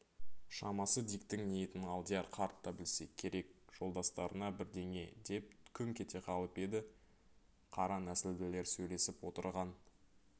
шамасы диктің ниетін алдияр қарт та білсе керек жолдастарына бірдеңе деп күңк ете қалып еді қара нәсілділер сөйлесіп отырған